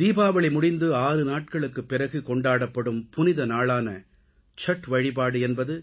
தீபாவளி முடிந்து 6 நாட்களுக்குப் பிறகு கொண்டாடப்படும் புனித நாளான சத் வழிபாடு என்பது